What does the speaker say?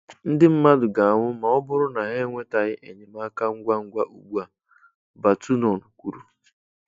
Ndị mmadụ ga-anwụ ma ọ bụrụ na ha enwetaghị enyemaka ngwa ngwa ugbu a, Batonon kwuru